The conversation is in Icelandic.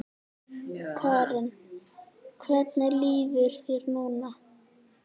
Karen: Hvernig líður þér núna?